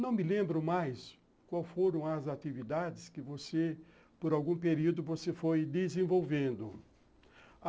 Não me lembro mais quais foram as atividades que você, por algum período, você foi desenvolvendo.